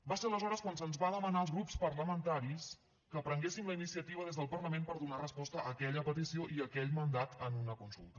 va ser aleshores quan se’ns va demanar als grups parlamentaris que prenguéssim la iniciativa des del parlament per donar resposta a aquella petició i a aquell mandat en una consulta